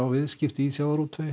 viðskipti í sjávarútvegi